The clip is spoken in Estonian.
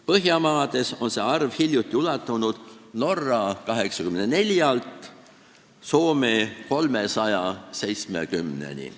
Põhjamaades on see arv hiljuti ulatunud Norra 84-st Soome 370-ni.